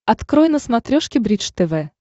открой на смотрешке бридж тв